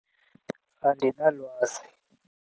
Andilwazi